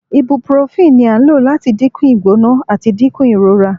Ibuprofen ni a lo lati dinku igbona ati dinku irora